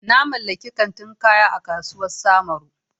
Na mallaki kantin kaya a kasuwar samaru.